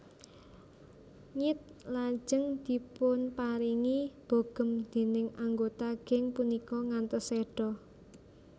Ngid lajeng dipunparingi bogem déning anggota geng punika ngantos seda